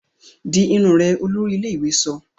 Dì irun orí rẹ! olórí ilé-ìwé sọ